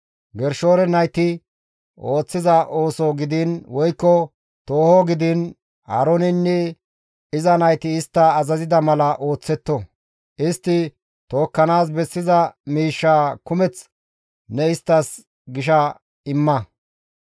Gershoone nayti ooththiza ooso gidiin woykko tooho gidiin Aarooneynne iza nayti istta azazida mala ooththetto; istti tookkanaas bessiza miishshaa kumeth ne isttas gisha imma.